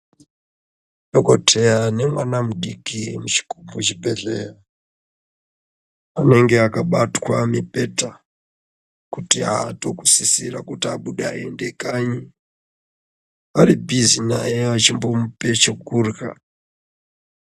Dhokodheya nemwana mudiki muchi muchibhedhleya, anenge akabatwa mibhedha, kuti aato kusisirwa kuti aende kanyi, vari bhizi naye vechimbomupe chekurya.